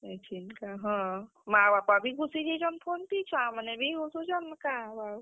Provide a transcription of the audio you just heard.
ଇଛେନ୍ କା ହଁ ମା ବାପା ବି ଘୁସିଯେଇଛନ୍ phone ଥି ଛୁଆମାନେ ବି ଘୁସୁଛନ୍, କାଁ ହେବା ଆଉ?